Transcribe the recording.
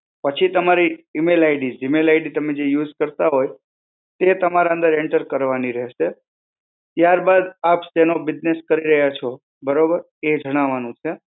પછી તમારી E mail ID. e mail ID તમે જે use કરતા હોય, તે તમારે અંદર enter કરવાની રહેશે. ત્યાર બાદ આપ શાનો business કરી રહ્યા છો, બરોબર? એ જણાવાનું છે.